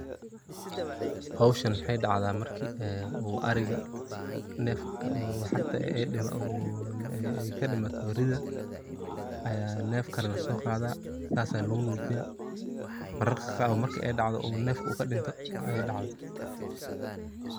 Howshan maxey dacda marki u ariga nef kadimato waxarta rida aya nef kale laso qadaa sas aa lagu nujiyaa mararka qaar wa marka u nefka u kadinto ayey dacda.